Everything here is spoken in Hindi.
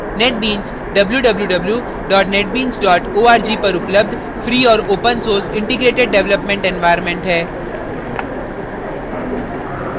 netbeans www netbeans org पर उपलब्ध free और open source integrated developement environment है